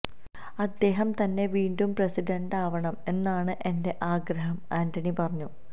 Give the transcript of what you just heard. അദ്ദേഹം തന്നെ വീണ്ടും പ്രസിഡണ്ടാവണം എന്നാണ് എന്റെ ആഗ്രഹം ആന്റണി പറഞ്ഞു